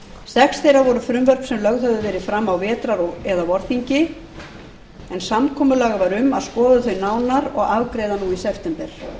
sex þeirra voru frumvörp sem lögð höfðu verið fram á vetrar eða vorþingi en samkomulag var um að skoða þau nánar og afgreiða nú í september